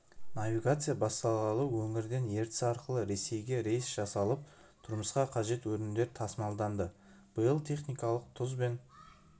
навигация басталғалы өңірден ертіс арқылы ресейге рейс жасалып тұрмысқа қажет өнімдер тасымалданды биыл техникалық тұз бен